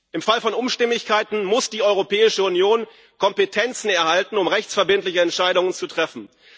Im Fall von Unstimmigkeiten muss die Europäische Union Kompetenzen erhalten, um rechtsverbindliche Entscheidungen zu treffen.